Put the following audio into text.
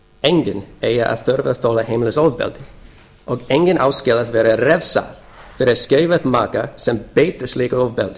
enginn eigi að þurfa að þola heimilisofbeldi og enginn á skilið að vera refsað fyrir að skilja við maka sem beitir slíku ofbeldi